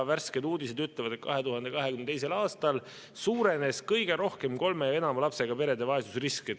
Värsked uudised ütlevad, et 2022. aastal suurenes kõige rohkem kolme ja enama lapsega perede vaesusrisk.